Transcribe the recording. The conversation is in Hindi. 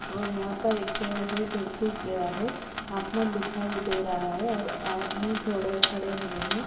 और यहाँ पर एक पेड़ है जो सुख गया है आसमान दिखाई दे रहा है और आदमी थोड़े खड़े हुए हैं।